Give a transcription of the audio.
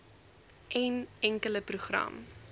n enkele program